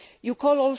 you